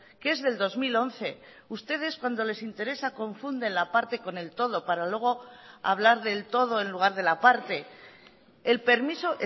que es del dos mil once ustedes cuando les interesa confunden la parte con el todo para luego hablar del todo en lugar de la parte el permiso